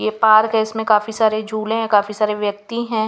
ये पार्क है इसमें काफी सारे झूले हैं काफी सारे व्यक्ति हैं.